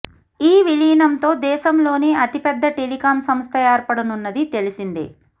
ఈ విలీనంతో దేశంలోనే అతిపెద్ద టెలికాం సంస్థ ఏర్పడనున్నది తెలిసిందే